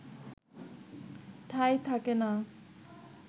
ঠাঁই থাকে না